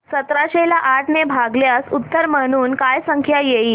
सतराशे ला आठ ने भागल्यास उत्तर म्हणून काय संख्या येईल